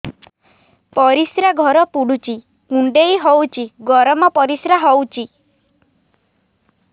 ପରିସ୍ରା ଘର ପୁଡୁଚି କୁଣ୍ଡେଇ ହଉଚି ଗରମ ପରିସ୍ରା ହଉଚି